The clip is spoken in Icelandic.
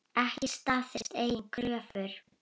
Ekki staðist eigin kröfur.